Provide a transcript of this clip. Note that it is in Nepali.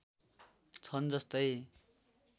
छन् जस्तै